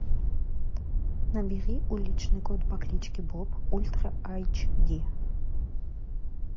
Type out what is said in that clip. набери уличный кот по кличке боб ультра айч ди